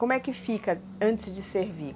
Como é que fica antes de servir?